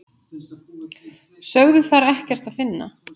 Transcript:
Sögðu þar ekkert að finna.